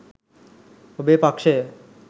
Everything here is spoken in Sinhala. ඔබේ පක්‍ෂය